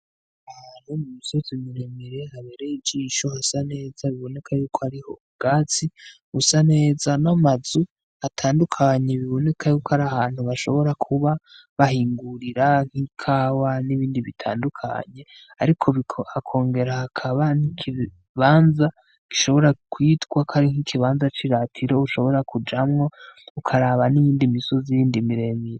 Imisozi miremire habereye ijisho isa neza biboneka yuko hariho ubwatsi busa neza n'amazu atandukanye biboneka yuko ari ahantu bashobora kuba bahingurira nk'ikawa nibindi bitandukanye ariko hakongera hakaba n'ikibanza gishobora kwitwa kwari nk'ikibanza c'iratiro ushobora kujamwo ukaraba n'iyindi misozi yindi miremire